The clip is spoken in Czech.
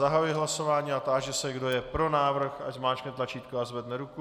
Zahajuji hlasování a táži se, kdo je pro návrh, ať zmáčkne tlačítko a zvedne ruku.